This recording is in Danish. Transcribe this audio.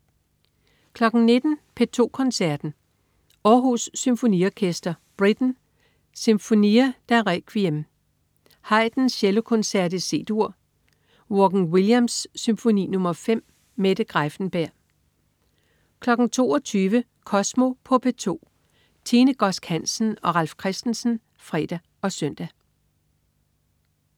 19.00 P2 Koncerten. Århus Symfoniorkester. Britten: Sinfonia da Requiem. Haydn: Cellokoncert, C-dur. Vaughan-Williams: Symfoni nr. 5. Mette Greiffenberg 22.00 Kosmo på P2. Tine Godsk Hansen og Ralf Christensen (fre og søn)